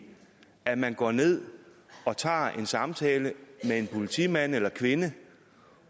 at man går ned og tager en samtale med en politimand eller kvinde